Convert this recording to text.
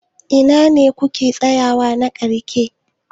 Ina ne kuke tsayawa na ƙarshe?